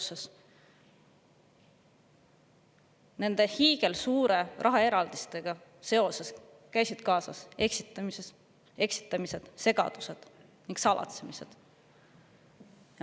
Selle hiigelsuure rahaeraldisega on kaasas käinud eksitamised, segadused ning salatsemised.